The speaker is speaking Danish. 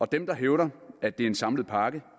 dem der hævder at det er en samlet pakke